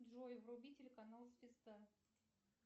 джой вруби телеканал звезда